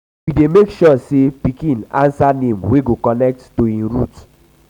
we dey make sure sey um um pikin um answer name wey go connect um to im root.